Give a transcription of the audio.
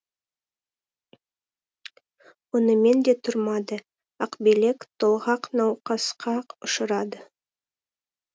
онымен де тұрмады ақбілек толғақ науқасқа ұшырады